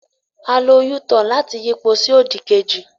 A lo u-turn láti yípo sí òdì kejì.